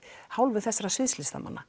hálfu þessara